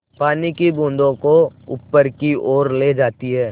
पानी की बूँदों को ऊपर की ओर ले जाती है